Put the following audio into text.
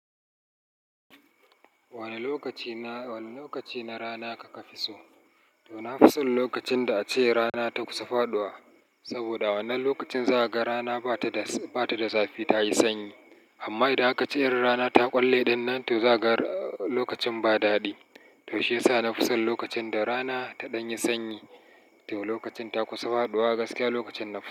Wane lokaci na, wane lokaci na rana kaka fi so? To na fi son lokacin da ace rana ta kusa faɗuwa. Saboda wannan lokacin za ka ga rana ba ta da, ba ta da zafi ta yi sanyi. Amma idan aka ce irin rana ta ƙwalle ɗannan, to za ka ga lokacin ba dadi. To shiyasa na fi son lokacin da rana ta ɗan yi sanyi. To lokacin ta kusa faɗuwa gaskiya lokacin nafi so.